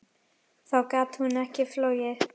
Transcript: Þá gat hún ekki flogið.